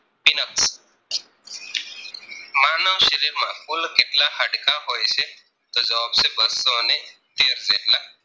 શરીર માં કુલ કેટલા હાડકા હોય છે જવાબ છે બસોને તેર જેટલા